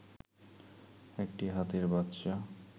একটি হাতির বাচ্চা